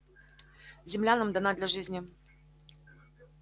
земля нам дана для жизни